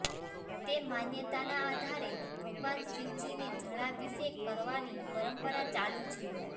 તે માન્યતાના આધારે ભગવાન શિવજીને જળાભિષેક કરવાની પરંપરા ચાલુ છે